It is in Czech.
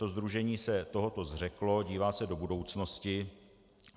To sdružení se tohoto zřeklo, dívá se do budoucnosti.